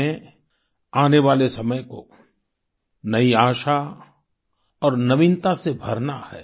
हमें आने वाले समय को नई आशा और नवीनता से भरना है